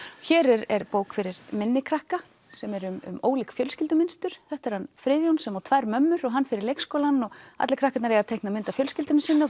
hér er bók fyrir minni krakka sem er um ólík fjölskyldumynstur þetta er hann Friðjón sem á tvær mömmur hann fer í leikskólann og allir krakkarnir eiga að teikna mynd af fjölskyldunni